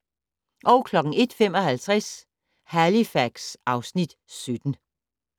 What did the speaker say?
01:55: Halifax (Afs. 17)